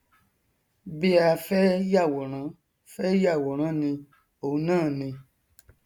bí a fẹ yàwòrán fẹ yàwòrán ni òun náà ni